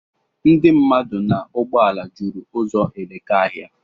Ndị mmadụ na ụgbọala jụrụ uzọ Elekahịa.